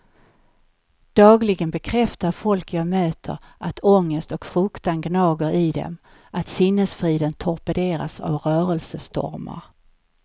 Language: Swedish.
Dagligen bekräftar folk jag möter att ångest och fruktan gnager i dem, att sinnesfriden torpederas av rörelsestormar.